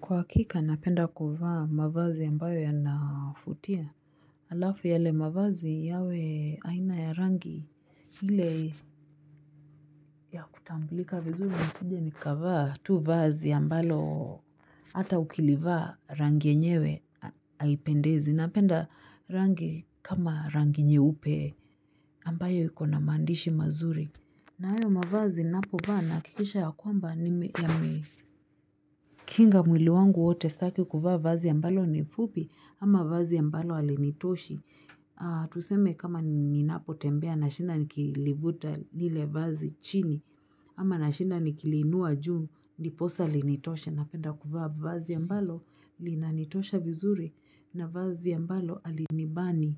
Kwa hakika napenda kuvaa mavazi yambayo ya nafutia. Alafu yale mavazi yawe aina ya rangi hile ya kutamblika vizuri nisije nikavaa tu vazi ambalo hata ukilivaa rangi enyewe aipendezi. Napenda rangi kama rangi nyeupe ambayo ikona mandishi mazuri. Nayo mavazi napovaa nahakikisha ya kwamba yamekinga mwili wangu wote staki kuvaa vazi ya ambalo ni fupi ama vazi ya ambalo halinitoshi Tuseme kama ninapo tembea nashinda nikilivuta nile vazi chini ama na shinda ni kilinua juu ndiposa linitoshe napenda kuvaa vazi ya ambalo linanitosha vizuri na vazi ya mbalo alinibani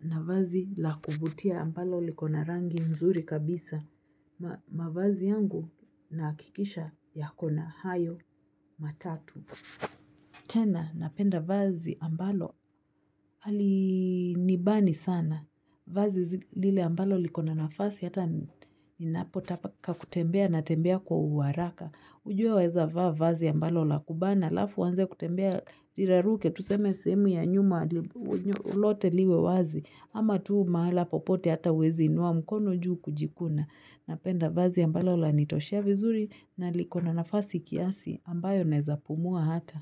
na vazi la kufutia ambalo likona rangi mzuri kabisa. Mavazi yangu nakikisha yakona hayo matatu. Tena napenda vazi ambalo halinibani sana. Vazi lile ambalo likona nafasi hata inapotaka kutembea na tembea kwa uwaraka. Ujue weza vazi ambalo la kubana. Alafu uanze kutembea iraruke tuseme sehemu ya nyuma lote liwe wazi. Ama tuu mahala popote hata uwezi inuwa mkono juu kujikuna. Napenda vazi ambalo lanitoshia vizuri na likona nafasi kiasi ambayo naezapumua hata.